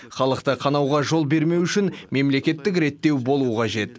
халықты қанауға жол бермеу үшін мемлекеттік реттеу болуы қажет